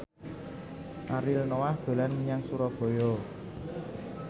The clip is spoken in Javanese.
Ariel Noah dolan menyang Surabaya